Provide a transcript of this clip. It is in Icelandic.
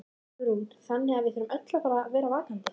Hugrún: Þannig að við þurfum öll að vera vakandi?